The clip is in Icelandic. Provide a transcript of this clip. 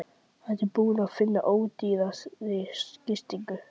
Ertu búinn að finna ódýrari gistingu?